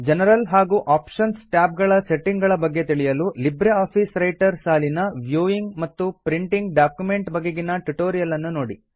general ಹಾಗೂ options tab ಗಳ setting ಗಳ ಬಗ್ಗೆ ತಿಳಿಯಲು ಲಿಬ್ರೆ ಆಫೀಸ್ ರೈಟರ್ ಸಾಲಿನ ವೀವಿಂಗ್ ಮತ್ತು ಪ್ರಿಂಟಿಂಗ್ ಡಾಕ್ಯುಮೆಂಟ್ ಬಗೆಗಿನ ಟ್ಯುಟೋರಿಯಲ್ ನ್ನು ನೋಡಿ